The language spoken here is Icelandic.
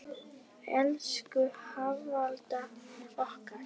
Elsku Hafalda okkar.